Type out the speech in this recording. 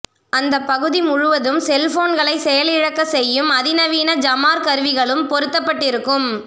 அந்த பகுதி முழுவதும் செல்போன்களை செயல் இழக்க செய்யும் அதி நவீன ஜாமர் கருவிகளும் பொறுத்தப்பட்டு இருக்கும்